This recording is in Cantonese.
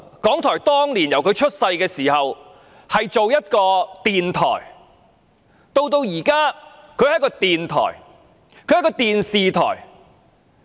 港台當年成立時是一間電台，而現在既是電台，也是電視台。